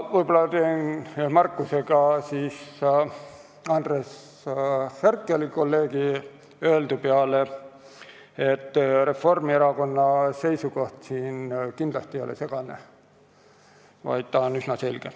Võib-olla teen märkuse ka kolleeg Andres Herkeli öeldu peale, et Reformierakonna seisukoht ei ole kindlasti segane, vaid ta on üsna selge.